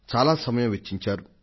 చాలా సమయాన్ని వెచ్చించారు